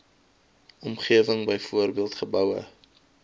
omgewing byvoorbeeld geboue